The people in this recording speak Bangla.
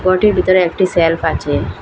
রুমটির ভিতরে একটি সেল্ফ আচে ।